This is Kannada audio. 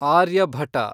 ಆರ್ಯಭಟ